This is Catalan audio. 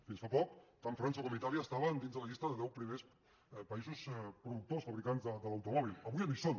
fins fa poc tant frança com itàlia estaven dins de la llista dels deu primers països productors fabricants de l’automòbil avui ja no hi són